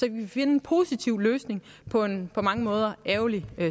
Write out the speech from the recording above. kan finde en positiv løsning på en på mange måder ærgerlig